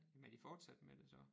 Jamen er de fortsat med det så